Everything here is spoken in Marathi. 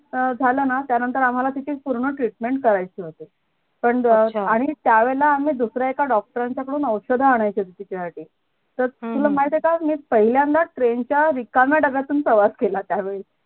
अं झालंना त्यानंतर आम्हाला तिथेच पूर्ण treatment करायचं पण त्या वेळेला आम्ही दुसरा एका doctor रांच्या कडून औषध आणायचं तिच्यासाठी तर तुला माहितीये का मी पहिल्यांदा train च्या रिकाम्या डब्यातून प्रवास केला त्या वेळेला